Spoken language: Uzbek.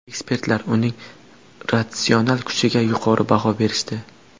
Ekspertlar uning ratsional kuchiga yuqori baho berishdi.